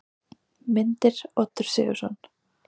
Myndir: Oddur Sigurðsson.